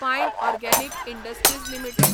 fine organic industries limited